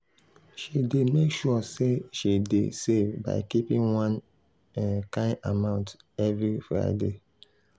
she dey make sure say she um dey save by keeping one um kind amount every friday.